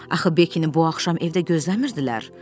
Axı Bekkini bu axşam evdə gözləmirdilər.